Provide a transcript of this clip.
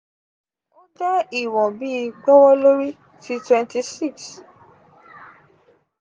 o jẹ iwọn bi “gbowolori” ti twenty-six